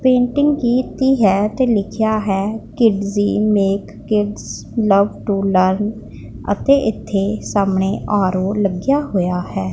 Painting ਕੀਤੀ ਹੈ ਤੇ ਲਿੱਖਿਆ ਐ Kidzee make kids love to learn ਅਤੇ ਇੱਥੇ ਸਾਹਮਣੇ ਆਰ_ਔ ਲੱਗਿਆ ਹੋਇਆ ਐ।